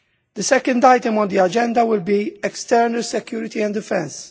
The second item on the agenda will be external security and defence.